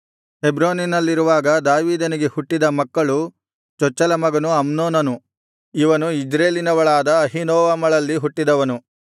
ಹೆಬ್ರೋನಿನಲ್ಲಿರುವಾಗ ದಾವೀದನಿಗೆ ಹುಟ್ಟಿದ ಮಕ್ಕಳು ಚೊಚ್ಚಲ ಮಗನು ಅಮ್ನೋನನು ಇವನು ಇಜ್ರೇಲಿನವಳಾದ ಅಹೀನೋವಮಳಲ್ಲಿ ಹುಟ್ಟಿದವನು